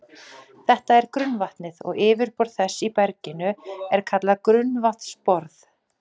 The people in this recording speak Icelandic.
Þetta er grunnvatnið, og yfirborð þess í berginu er kallað grunnvatnsborð.